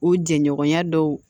U jɛɲɔgɔnya dɔw